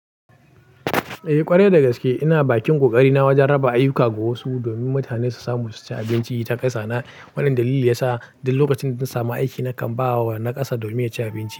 Eh ƙwarai da gaske ina bakin ƙoƙari na wajen raba ayyuka ga wasu domin mutane su samu su ci abinci ta ƙasa. Na wannan dalili ya sa duk lokacin da na samu aiki nakan ba wa na ƙasa domin ya ci abinci.